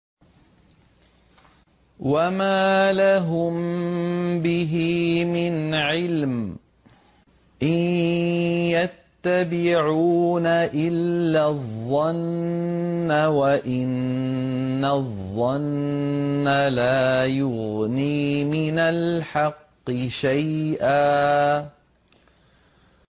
وَمَا لَهُم بِهِ مِنْ عِلْمٍ ۖ إِن يَتَّبِعُونَ إِلَّا الظَّنَّ ۖ وَإِنَّ الظَّنَّ لَا يُغْنِي مِنَ الْحَقِّ شَيْئًا